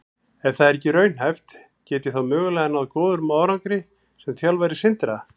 Ef það er ekki raunhæft, get ég þá mögulega náð góðum árangri sem þjálfari Sindra?